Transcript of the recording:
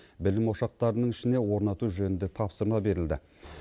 білім ошақтарының ішіне орнату жөнінде тапсырма берілді